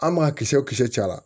An m'a kisɛ kisɛ caya